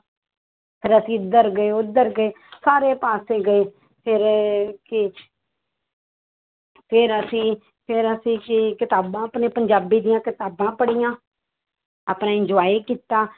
ਫਿਰ ਅਸੀਂ ਇੱਧਰ ਗਏ ਉੱਧਰ ਗਏ ਸਾਰੇ ਪਾਸੇ ਗਏ ਫਿਰ ਕਿ ਫਿਰ ਅਸੀਂ ਫਿਰ ਅਸੀਂ ਕਿ~ ਕਿਤਾਬਾਂ ਆਪਣੇ ਪੰਜਾਬੀ ਦੀਆਂ ਕਿਤਾਬਾਂ ਪੜ੍ਹੀਆਂ ਆਪਣੇ enojoy ਕੀਤਾ